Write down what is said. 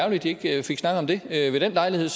at de ikke fik snakket om det ved den lejlighed